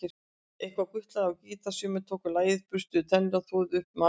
Einhver gutlaði á gítar, sumir tóku lagið, burstuðu tennur, þvoðu upp matarílát.